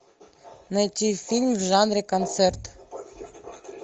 найти фильм в жанре концерт